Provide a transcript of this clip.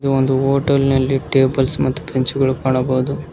ಈ ಒಂದು ಹೋಟೆಲ್ ನಲ್ಲಿ ಟೇಬಲ್ಸ್ ಮತ್ತು ಬೆಂಚು ಗುಳು ಕಾಣಬಹುದು.